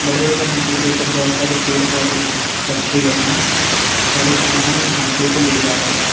बड़े वाले हाथी के ऊपर बहोत सारे पेड़ पौधे रखे गए हैं और एक आदमी इन हाथियों को ले जा रहा है।